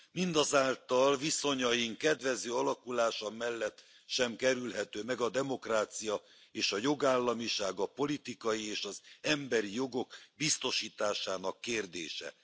Mindazáltal viszonyaink kedvező alakulása mellett sem kerülhető meg a demokrácia és a jogállamiság, a politikai és az emberi jogok biztosításának kérdése.